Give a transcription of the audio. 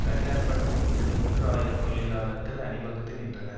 தனி ஆர்ப்பாட்டம் ஒன்றில் மூன்று ஆயிரம் தொழிலாளர்கள் அணிவகுத்து நின்றனர்